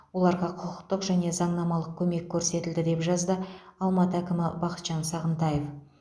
оларға құқықтық және заңнамалық көмек көрсетілді деп жазды алматы әкімі бақытжан сағынтаев